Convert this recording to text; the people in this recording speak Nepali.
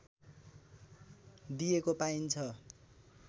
दिएको पाइन्छ